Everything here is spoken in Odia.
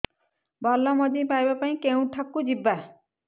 ଭଲ ମଞ୍ଜି ପାଇବା ପାଇଁ କେଉଁଠାକୁ ଯିବା